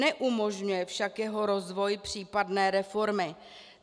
Neumožňuje však jeho rozvoj, případné reformy.